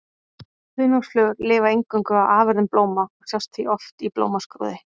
Hunangsflugur lifa eingöngu á afurðum blóma og sjást því oft í blómskrúði.